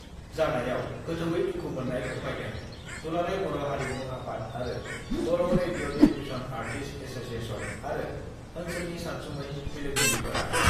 जानायाव गोथौयै दुखु मोन्नाय फोरमायदों दुलाराय बर' हारिमु आफाद आरो बर' रेडिअ टेलिभिसन आर्टिस्ट एस'सियेसन आरो ओन्सोलनि सानसुमै मेलेमजिबिफोरा।